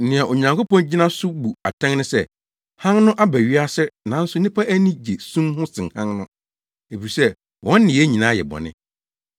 Nea Onyankopɔn gyina so bu atɛn ne sɛ: Hann no aba wiase nanso nnipa ani gye sum ho sen Hann no, efisɛ wɔn nneyɛe nyinaa yɛ bɔne.